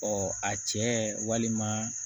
a cɛ walima